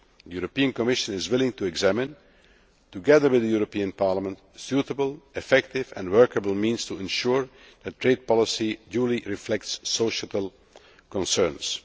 The European Commission is willing to examine together with the European Parliament suitable, effective and workable means to ensure that trade policy duly reflects societal concerns.